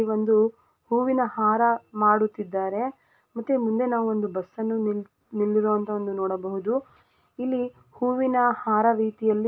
ಈ ಒಂದು ಹೂವಿನ ಹಾರ ಮಾಡುತ್ತಿದ್ದಾರೆ ಮತ್ತು ಮುಂದೆ ನಾವು ಒಂದು ಬಸ್ಸನ್ನು ನಿಲ್ಲಿರೋಹಂತದನ್ನು ನೋಡಬಹುದು ಇಲ್ಲಿ ಹೂವಿನ ಹಾರ ರೀತಿಯಲ್ಲಿ--